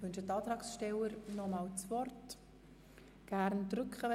Wünschen die Antragsteller das Wort ein weiteres Mal?